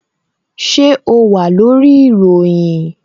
Ṣé o wà lórí ìròyìn?